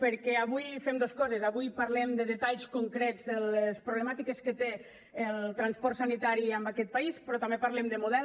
perquè avui fem dos coses avui parlem de detalls concrets de les problemàtiques que té el transport sanitari en aquest país però també parlem de model